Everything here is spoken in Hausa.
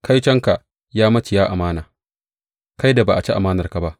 Kaitonka, ya maciya amana, kai da ba a ci amanarka ba!